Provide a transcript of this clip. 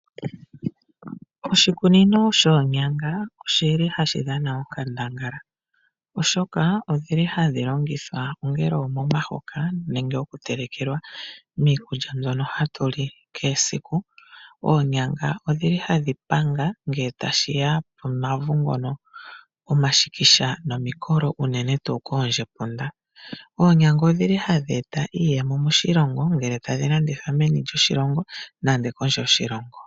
Oshikunino shoonyanga oshili hashi dhana onkandangala, oshoka odhili hadhi longithwa ongele omomahoka nenge oku telekelwa miikulya mbyono hatu li kehe esiku. Oonyanga odhili hadhi panga ngele tashiya komavu ngono gomashikisha nomikolo unene tuu koondjepunda. Oonyanga odhili hadhi eta iiyemo moshilongo ngele tadhi landithwa meni lyoshilongo nande kondje yoshilongo.